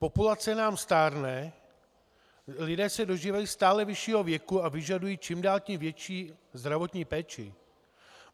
Populace nám stárne, lidé se dožívají stále vyššího věku a vyžadují čím dál tím větší zdravotní péči.